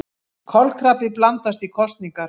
Kolkrabbi blandast í kosningar